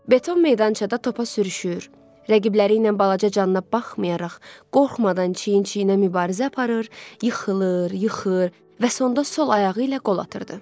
Beton meydançada topa sürüşür, rəqibləri ilə balaca canına baxmayaraq, qorxmadan çiyin-çiyinə mübarizə aparır, yıxılır, yıxır və sonda sol ayağı ilə qol atırdı.